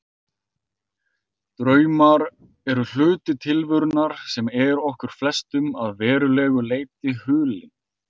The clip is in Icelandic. Draumar eru hluti tilverunnar sem er okkur flestum að verulegu leyti hulinn.